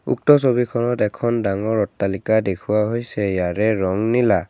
উক্ত ছবিখনত এখন ডাঙৰ অট্টালিকা দেখুওৱা হৈছে ইয়াৰে ৰং নীলা।